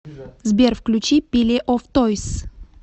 сбер включи пиле оф тойз